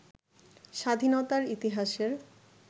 স্বাধীনতার ইতিহাসের